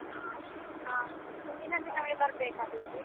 ಆ ಅಷ್ಟೇ, ಆ ಹಿಂದಿನ ಬರಬೇಕಾದೀತು.